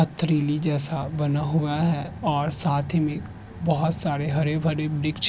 पथरीली जैसा बना हुआ है और साथ ही में बहोत सारे हरे भरे वृक्ष --